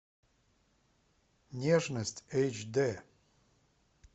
нежность эйч дэ